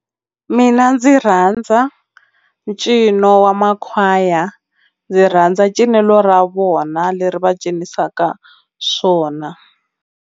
Mina ndzi rhandza ncino wa makhwaya ndzi rhandza cinelo ra vona leri va cinisaka swona.